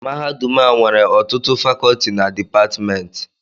Mahadum a nwere ọtụtụ Fakọọti na Dipatmentị